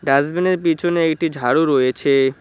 ডাস্টবিনের পিছনে এটি ঝাড়ু রয়েছে।